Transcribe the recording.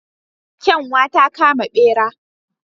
Kyanwa ta kama bera.